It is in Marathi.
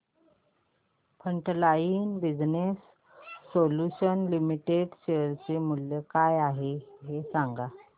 frontline business solutions limited share चे मूल्य काय आहे हे सांगा